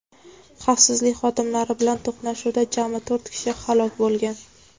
Xavfsizlik xodimlari bilan to‘qnashuvda jami to‘rt kishi halok bo‘lgan.